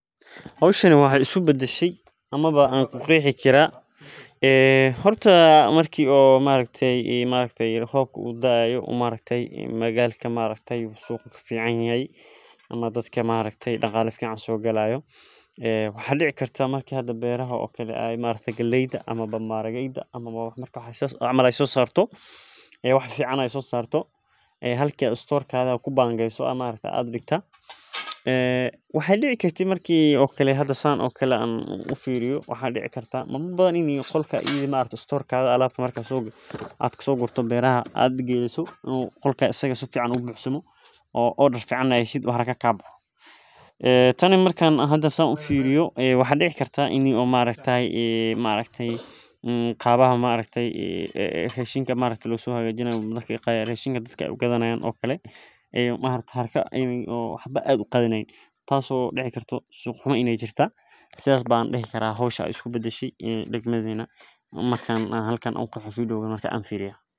Hoshan waxee isku badashe horta marki robka u daayo beerta ee wax fican sosarto galeyda ama maharageda marki a sogorto waxaa dici kartaain u haraa buxsubo oo becshida aa ka hesho marka sithas ayan u qexi karaa marka an hoshas firiyo mark sithas waye hoshan.